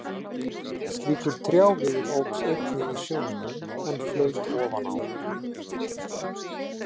Slíkur trjáviður óx einnig í sjónum, en flaut ofan á.